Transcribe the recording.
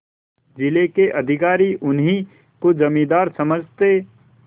जिले के अधिकारी उन्हीं को जमींदार समझते